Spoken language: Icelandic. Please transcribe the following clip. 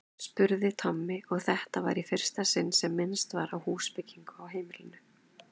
spurði Tommi, og þetta var í fyrsta sinn sem minnst var á húsbyggingu á heimilinu.